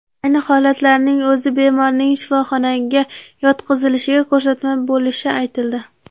Ayni holatlarning o‘zi bemorning shifoxonaga yotqizilishiga ko‘rsatma bo‘lishi aytildi.